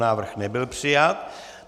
Návrh nebyl přijat.